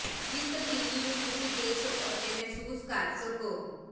ਜਿਸ ਤਬਦੀਲੀ ਨੂੰ ਤੁਸੀਂ ਦੇਖ ਸਕੋ ਅਤੇ ਮਹਿਸੂਸ ਕਰ ਸਕੋ